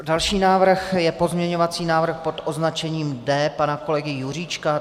Další návrh je pozměňovací návrh pod označením D pana kolegy Juříčka.